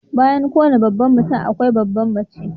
Bayan kowane babban mutum akwai babbar mace.